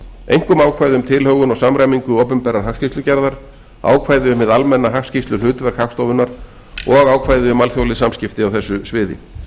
einkum ákvæði um tilhögun og samræmingu opinberrar hagskýrslugerðar ákvæði um hið almenna hagskýrsluhlutverk hagstofunnar og ákvæði um alþjóðleg samskipti á þessu sviði